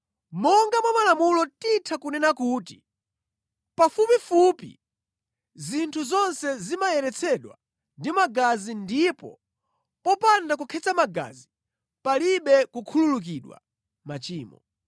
Monga mwa malamulo titha kunena kuti, pafupifupi zinthu zonse zimayeretsedwa ndi magazi ndipo popanda kukhetsa magazi palibe kukhululukidwa machimo.